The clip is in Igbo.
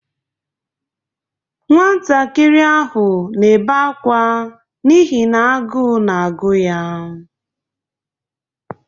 Nwantakịr ahụ na-ebe akwa n'ihi n'agụụ na-agụ ya.